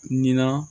Nin na